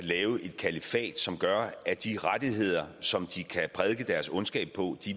et kalifat som gør at de rettigheder som de kan prædike deres ondskab på